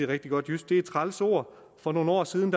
rigtig godt jysk er et træls ord for nogle år siden